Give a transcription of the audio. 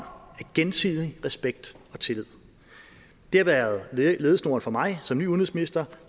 gensidig respekt og tillid det har været ledesnoren for mig som ny udenrigsminister